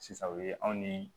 Sisan o ye anw ni